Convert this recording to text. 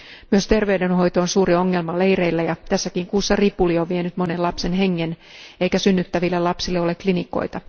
Myös terveydenhoito on suuri ongelma leireillä ja tässäkin kuussa ripuli on vienyt monen lapsen hengen eikä synnyttäville ole klinikoita.